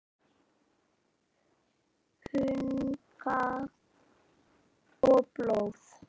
Hunang og blóð